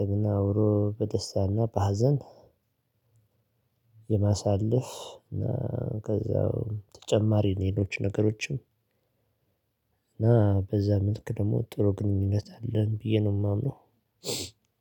ደግና አብሮ በደስታና በሀዘን። የማሳለፍ እና ከዛው ተጨማሪ ሌሎች ነገሮችም እና በዛ መልክ ደግሞ ጥሩ ግንኙነት አለን። ብዬ ነው የማምነው።